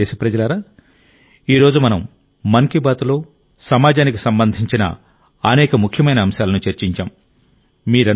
నా ప్రియమైన దేశప్రజలారా ఈ రోజు మనం మన్ కీ బాత్లో సమాజానికి సంబంధించిన అనేక ముఖ్యమైన అంశాలను చర్చించాం